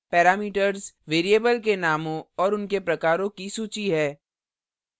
parameters variable के नामों और उनके प्रकारों की सूची है